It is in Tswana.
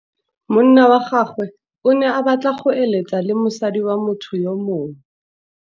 Monna wa gagwe o ne a batla go êlêtsa le mosadi wa motho yo mongwe.